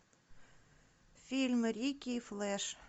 фильм рики и флэш